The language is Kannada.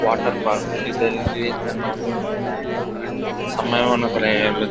ವಾಟರ್ ಪಾರ್ಕ್ ಇದರಲ್ಲಿ ನಮ್ಮ ಸಮಯವನ್ನು .]